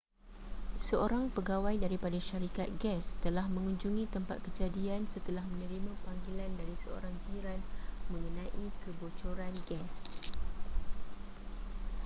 seorang pegawai daripada syarikat gas telah mengunjungi tempat kejadian setelah menerima panggilan dari seorang jiran mengenai kebocoran gas